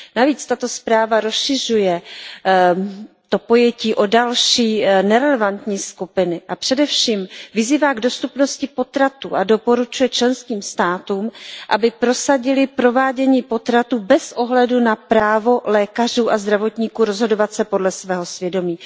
Navíc tato zpráva rozšiřuje to pojetí o další nerelevantní skupiny a především vyzývá k dostupnosti potratů a doporučuje členským státům, aby prosadily provádění potratů bez ohledu na právo lékařů a zdravotníků rozhodovat se podle svého svědomí.